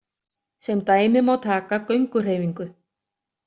Sem dæmi má taka gönguhreyfingu.